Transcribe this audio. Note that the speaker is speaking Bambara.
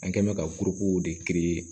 An kɛ mɛ ka buruko de